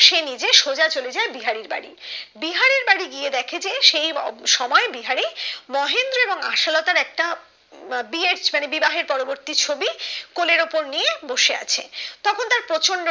সে নিজে সোজা চলে যাই বিহারীর বাড়ি বিহারীর বাড়ি গিয়ে দেখে যেই সময় বিহারি মহেন্দ্র এবং আসলতার একটা বিয়ের মানে বিবাহের পরবর্তী ছবি কোলের উপর নিয়ে বসে আছে তখন তার প্রচন্ড